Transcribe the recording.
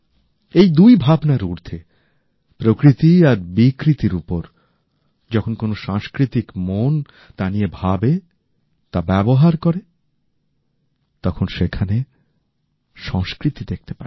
এই দুই ভাবনার ঊর্ধ্বে প্রকৃতি আর বিকৃতির উপর যখন কোন সাংস্কৃতিক মন তা নিয়ে ভাবে বা ব্যবহার করে তখন সেখানে সংস্কৃতি দেখতে পাই